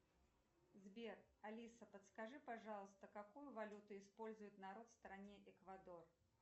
сбер алиса подскажи пожалуйста какую валюту использует народ в стране эквадор